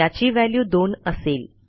याची व्हॅल्यू दोन असेल